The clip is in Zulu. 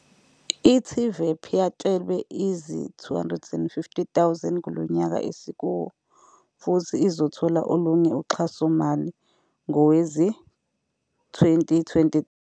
I-TVEP yatshelwe izi-R250 000 kulo nyaka esikuwo futhi izothola olunye uxhasomali